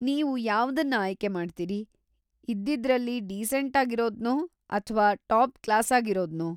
ನೀವು ಯಾವ್ದನ್ನ ಆಯ್ಕೆ ಮಾಡ್ತೀರಿ, ಇದ್ದಿದ್ರಲ್ಲಿ ಡೀಸೆಂಟಾಗಿರೋದ್ನೋ ಅಥ್ವಾ ಟಾಪ್‌-ಕ್ಲಾಸಾಗಿರೋದ್ನೋ?